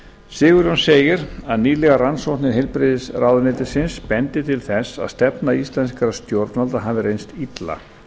sigurjón segir að nýlegar rannsóknir heilbrigðisráðuneytisins bendi til þess að stefna íslenskra stjórnvalda hafi reynst illa